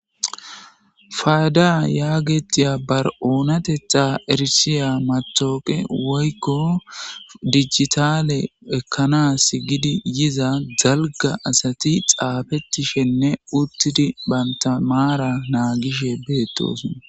faada yaagetiya bar7oonate xa erisiya matooqe woykko dijitale ekkanas gidi yiza dalga asati xaafettishenne uttidi banta maara naagishe beettosona